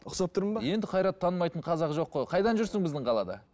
ұқсап тұрмын ба енді қайратты танымайтын қазақ жоқ қой қайдан жүрсің біздің қалада